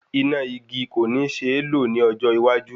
Iná igi kò ní ṣeé lò ní ọjọ́ iwájú